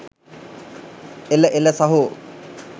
එළ එළ සහෝ